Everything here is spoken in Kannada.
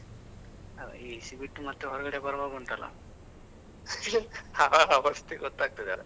ಅ AC ಬಿಟ್ಟು ಮತ್ತೆ ಹೊರಗಡೆ ಬರವಾಗ ಉಂಟಲ್ಲ, ಅ ಅವಸ್ಥೆ ಗೊತ್ತಾಗ್ತದೆ.